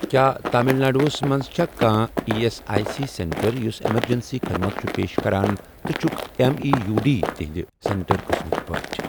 کیٛاہ تامِل ناڈوَس مَنٛز چھا کانٛہہ E S I C centre یُس ایٚمرجنسی خدمت چھُ پیش کران تہٕ چھُکھ M E U D centre سینٹر قٕسمٕک پٲٹھۍ؟